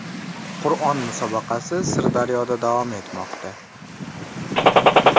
Qur’on musobaqasi Sirdaryoda davom etmoqda.